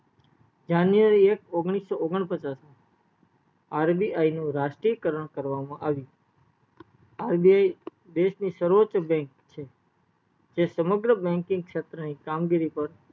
january એક ઓગણીસો ઓગણપચાસ RBI નું રાષ્ટ્રીય કારણ કરવામાં આવ્યું RBI દેશ ની સર્વોચ bank છે જે સમગ્ર banking શેત્ર ની કામગીરી પર